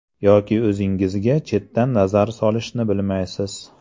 Yoki o‘zingizga chetdan nazar solishni bilmaysiz.